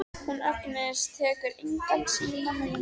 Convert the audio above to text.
Hún Agnes tekur engan síma núna.